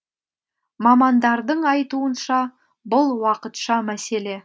мамандардың айтуынша бұл уақытша мәселе